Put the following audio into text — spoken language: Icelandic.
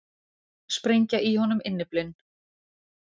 Sprengja í honum innyflin.